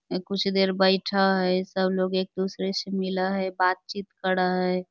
कुछ देर बैठ हई सब लोग एक दूसरे से मिल हई बातचीत कर हई I